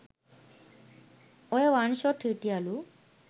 ඔය one shot හිටියලු